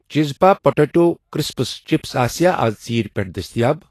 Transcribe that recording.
چِزپا potato crisps chips آسیٚا اَز ژیٖرۍ پٮ۪ٹھ دٔستِیاب؟